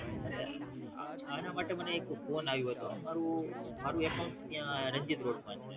આના માટે મને એક Phone અયવોતો મારુ મારુ Account ત્યાં રણજિત Road માં છે